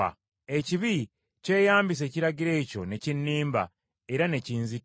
Ekibi kyeyambisa ekiragiro ekyo ne kinnimba, era ne kinzita.